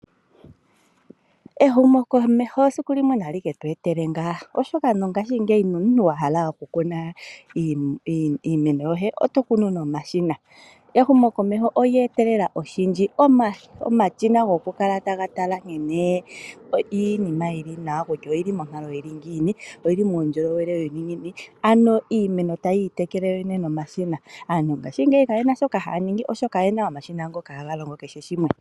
Ehumokomeho siku limwe onali ketu etele ngaa oshoka mongaashingeyi nomuntu wa hala oku kuna iimeno yoye, oto kunu nomashina. Ehumokomeho olye etelela oshindji, omashina goku kala taga tala nkene iinima yili nawa kutya oyili monkalo yili ngiini, oyili muundjolowele wuli ngiini, ano iimeno tayi itekele yoyene nomashina. Aaantu mongaashingeyi ka yena sha shoka haya ningi oshoka oye na omashina ngoka haga longo kehe shimwe.